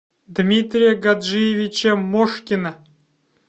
дмитрия гаджиевича мошкина